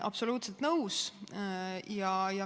Absoluutselt nõus.